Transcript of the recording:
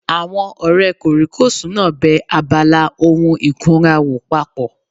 Àwọn ọ̀rẹ́ kòríkòsùn náà bẹ abala ohun ìkunra wò papọ̀